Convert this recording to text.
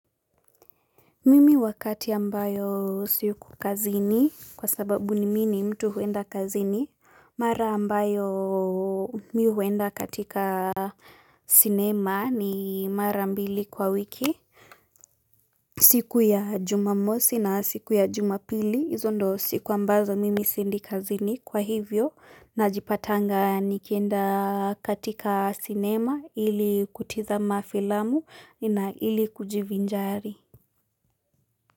Mimi wakati ambayo siko kazini kwa sababu mimi ni mtu huenda kazini mara ambayo mimi huenda katika sinema ni mara mbili kwa wiki siku ya jumamosi na siku ya jumapili hizo ndio siku ambazo mimi siendi kazini kwa hivyo najipatanga nikienda katika sinema ili kutazama filamu nina ili kujivinjari.